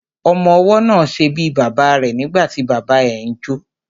Ọmọwọ́ náà ṣe bíi bàbá rẹ̀ nígbàtí bàbá ẹ ń jó.